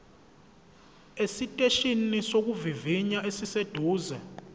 esiteshini sokuvivinya esiseduze